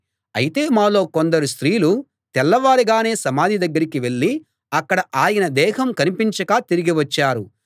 అయితే మాలో కొందరు స్త్రీలు తెల్లవారగానే సమాధి దగ్గరికి వెళ్ళి అక్కడ ఆయన దేహం కనిపించక తిరిగి వచ్చారు